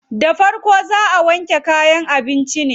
Da farko dai zaa a wanke kayan abincin ne.